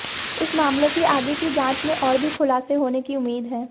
इस मामले की आगे की जांच में और भी खुलासे होने की उम्मीद है